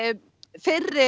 fyrri